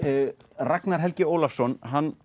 Ragnar Helgi Ólafsson